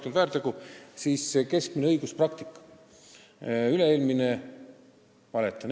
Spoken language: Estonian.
Mõtlen neid 20 väärtegu.